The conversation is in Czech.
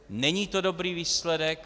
Není to dobrý výsledek.